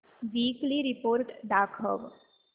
weekly report दाखव